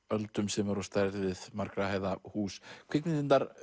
öldum sem eru á stærð við margra hæða hús kvikmyndirnar